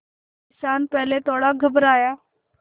किसान पहले थोड़ा घबराया